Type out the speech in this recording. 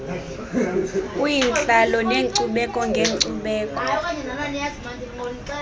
kwiintlalo neenkcubeko ngeenkcubeko